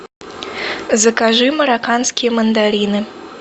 закажи марокканские мандарины